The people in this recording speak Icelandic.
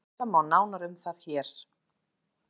Lesa má nánar um það hér.